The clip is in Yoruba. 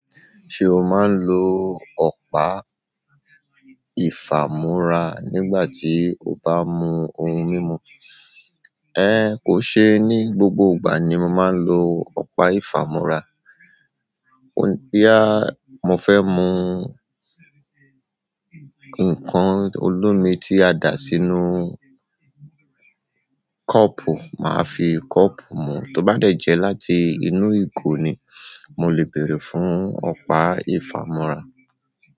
Ṣé o máa ń lo ọ̀pá ìfàmúra nígbà tí o bá mú ohun mímu? Kò ṣe ní gbogbo ìgbà ni mo máa ń lo ọ̀pá ìfàmúra. Boya mo fẹ́ mù nǹkan olómi tí a dà sínú kọ́ọ̀pù, màá fi kọ́ọ̀pù mú. To ba de je láti inú igo ni, mo le beere fún ọ̀pá ifamura.